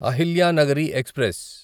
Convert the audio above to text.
Ahilyanagari express